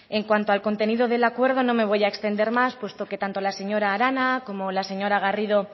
en cuanto al contenido del acuerdo no me voy a extender más puesto que tanto la señora arana como la señora garrido